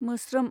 मोस्रोम